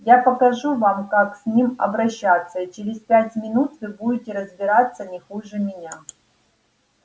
я покажу вам как с ним обращаться и через пять минут вы будете разбираться не хуже меня